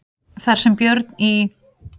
Þar sem Björn í